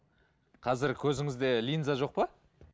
қазір көзіңізде линза жоқ па